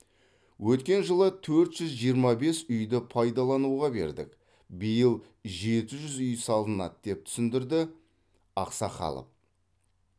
өткен жылы төрт жүз жиырма бес үйді пайдалануға бердік биыл жеті жүз үй салынады деп түсіндірді ақсақалов